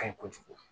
Ka ɲi kojugu